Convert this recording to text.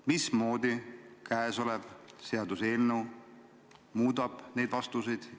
Mismoodi käesolev seaduseelnõu neid vastuseid muudab?